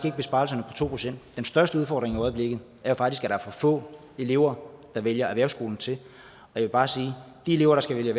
ikke besparelserne på to procent den største udfordring i øjeblikket er faktisk at for få elever der vælger erhvervsskolen til jeg vil bare sige at de elever der skal vælge